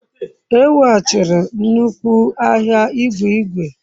E wughachiri nnukwu ahịa igwe igwe.